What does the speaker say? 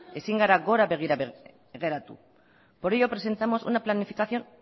ezin gara begira geratu por ello presentamos una planificación